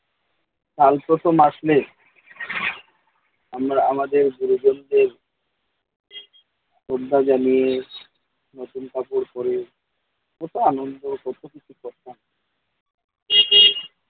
কাল প্রথম আসলে আমরা আমাদের গুরুজনদের শ্রদ্ধা জানিয়ে নতুন কাপড় পরে কত আনন্দ কত কিছু করতাম